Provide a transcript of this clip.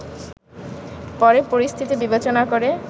পরে পরিস্থিতি বিবেচনা করে